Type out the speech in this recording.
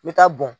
N bɛ taa bɔn